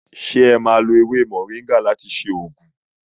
Se e má lo ewé moringa láti ṣe oògùn?